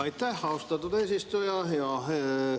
Aitäh, austatud eesistuja!